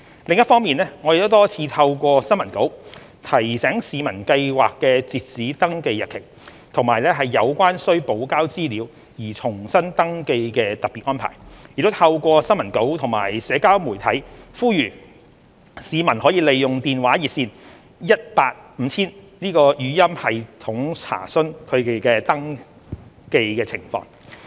另一方面，我們多次透過新聞稿提醒市民計劃的截止登記日期，以及有關須補交資料而重新登記的特別安排，亦透過新聞稿及社交媒體呼籲市民可利用電話熱線 18,5000 的語音系統查詢其登記情況。